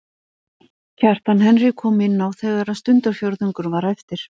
Kjartan Henry kom inn á þegar stundarfjórðungur var eftir.